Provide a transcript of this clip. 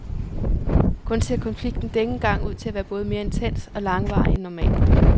Kun ser konflikten denne gang ud til at være både mere intens og langvarig end normalt.